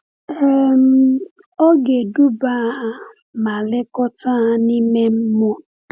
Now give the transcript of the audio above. um Ọ ga-eduba ha ma lekọta ha n’ime mmụọ.